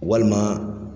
Walima